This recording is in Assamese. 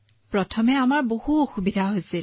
প্ৰথমতে আমাৰ বহুত অসুবিধা হৈছিল